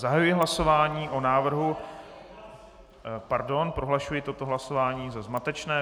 Zahajuji hlasování o návrhu - Pardon, prohlašuji toto hlasování za zmatečné.